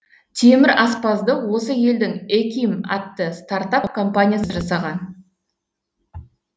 темір аспазды осы елдің эким атты стартап компаниясы жасаған